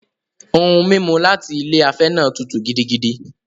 Ohun-mímu láti ilé afẹ́ náà tútù gidigidi.